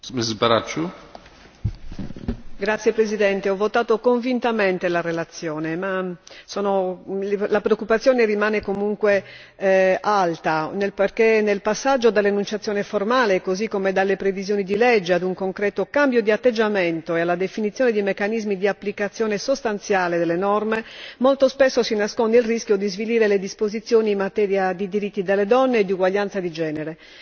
Signor Presidente, onorevoli colleghi, ho votato con convinzione la relazione, tuttavia la preoccupazione rimane alta perché nel passaggio dall'enunciazione formale, così come dalle previsioni di legge, ad un concreto cambio di atteggiamento e alla definizione di meccanismi di applicazione sostanziale delle norme, molto spesso si nasconde il rischio di svilire le disposizioni in materia di diritti delle donne e di uguaglianza di genere.